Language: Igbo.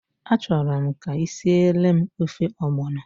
A chọrọ m ka ị siele m ofe ọgbọnọ.